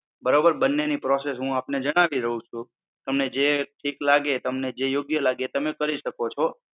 બરોબર? બન્ને ની process હુ આપણે જણાવી દઉં છું, તમને જે ઠીક લાગે તમને જે યોગ્ય લાગે તમે કરી શકો છો.